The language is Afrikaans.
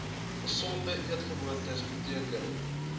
gesonde eetgewoontes beteken